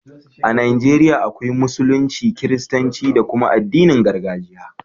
A Najeriya akwai Musulunci, Kiristanci da kuma addinin gargajiya.